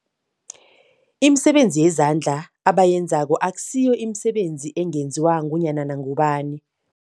Imisebenzi yezandla abayenzako akusiyo imisebenzi ungenziwa ngunyana ngubani